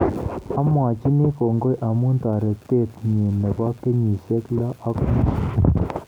Amwachini kongoi amu taretet nyi nebo kenyisyek lo ak nusu